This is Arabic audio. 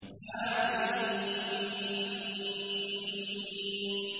حم